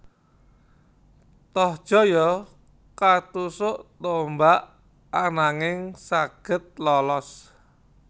Tohjaya katusuk tombak ananging saged lolos